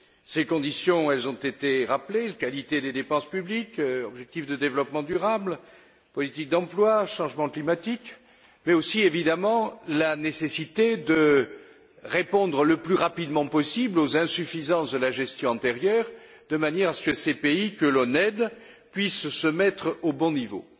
Ces conditions ont été rappelées qualité des dépenses publiques, objectifs de développement durable, politique d'emploi, changement climatique, mais aussi évidemment la nécessité de répondre le plus rapidement possible aux insuffisances de la gestion antérieure, de manière à ce que ces pays que l'on aide puissent se mettre au bon niveau.